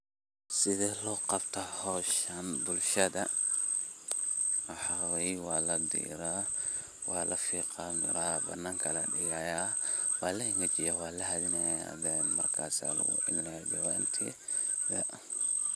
sidee loqabta hoshan bulshada, waxa wayeh waladira, walafiqa miraha aya bananka ladigaya wala ingejinah walahadhinah markas aya lagu celeinah jawanti.